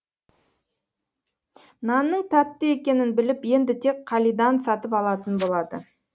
нанның тәтті екенін біліп енді тек қалидан сатып алатын болады